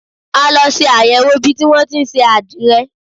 A lọ ṣe àyẹ̀wò ibi tí wọn tí ń ṣe àdìrẹ.